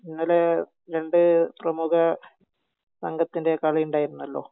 ഇന്നലെ രണ്ട് പ്രമുഖ സംഘത്തിൻ്റെ കളി ഉണ്ടായിരുന്നല്ലോ